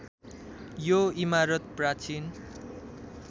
यो इमारत प्राचीन